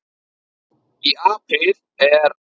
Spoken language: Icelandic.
Í apríl er